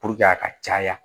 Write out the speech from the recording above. a ka caya